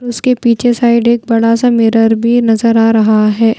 उसके पीछे साइड एक बड़ा सा मिरर भी नजर आ रहा है।